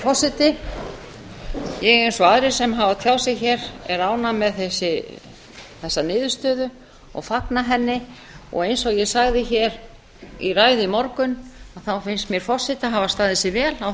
forseti eins og aðrir sem hafa tjáð sig hér er ég ánægð með þessa niðurstöðu og fagna henni eins og ég sagði hér í ræðu í morgun finnst mér forseti hafa staðið sig vel á